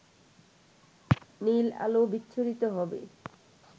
নীল আলো বিচ্ছুরিত হবে